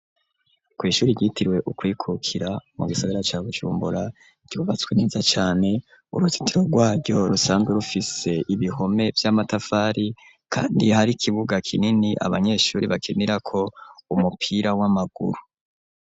Kw'ishuri ryitiriwe ukwikukira, mu gisagara ca Bujumbura, ryubatswe neza cane, uruzitiro rwaryo rusanzwe rufise ibihome vy'amatafari, kandi hari ikibuga kinini abanyeshuri bakinirako umupira w'amaguru.